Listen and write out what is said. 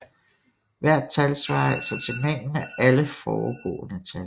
Hvert tal svarer altså til mængden af alle foregående tal